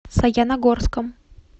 саяногорском